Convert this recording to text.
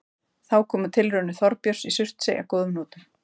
Þá komu tilraunir Þorbjörns í Surtsey að góðum notum.